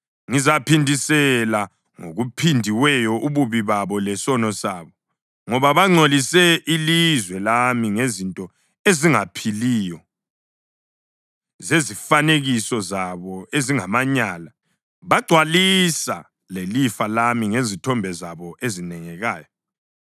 Ngizaphindisela ngokuphindiweyo ububi babo lesono sabo, ngoba bangcolise ilizwe lami ngezinto ezingaphiliyo zezifanekiso zabo ezingamanyala, bagcwalisa lelifa lami ngezithombe zabo ezinengekayo.”